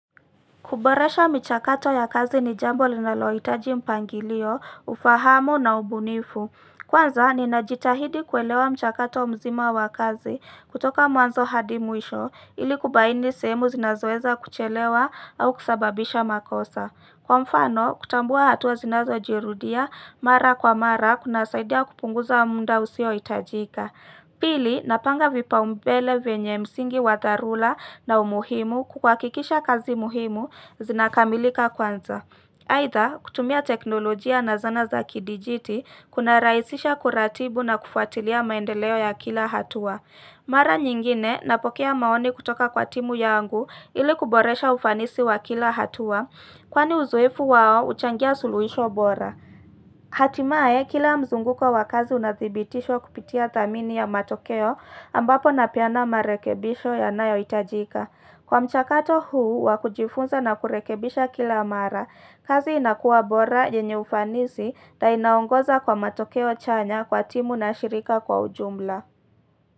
Kuboresha mchakato ya kazi ni jambo linalohitaji mpangilio, ufahamu na ubunifu. Kwanza, ninajitahidi kuelewa mchakato mzima wa kazi kutoka mwanzo hadi mwisho, ili kubaini sehemu zinazoweza kuchelewa au kusababisha makosa. Kwa mfano, kutambua hatua zinazojirudia, mara kwa mara, kunasaidia kupunguza wa muda usiohitajika. Pili, napanga vipaumbele vyenye msingi wa dharura na umuhimu kuhakikisha kazi muhimu zinakamilika kwanza. Aidha, kutumia teknolojia na zana za kidijiti, kunarahisisha kuratibu na kufuatilia maendeleo ya kila hatua. Mara nyingine, napokea maoni kutoka kwa timu yangu ili kuboresha ufanisi wa kila hatua, kwani uzoefu wao huchangia suluhisho bora. Hatimaye, kila mzunguko wa kazi unadhibitishwa kupitia thamini ya matokeo ambapo napeana marekebisho yanayohitajika. Kwa mchakato huu wa kujifunza na kurekebisha kila mara. Kazi inakuwa bora yenye ufanisi na inaoongoza kwa matokeo chanya kwa timu na shirika kwa ujumla.